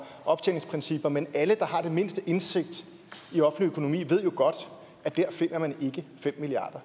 optjeningsprincipper men alle der har den mindste indsigt i offentlig økonomi ved jo godt at der finder man ikke fem milliard